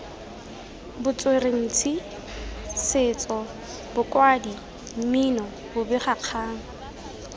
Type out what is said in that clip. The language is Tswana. botsweretshi setso bokwadi mmino bobegakgang